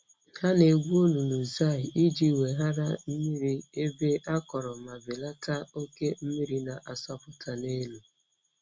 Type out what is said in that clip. Ha na-egwu olulu zai iji weghara mmiri n'ebe akọrọ ma belata oke mmiri na-asọpụta n'elu.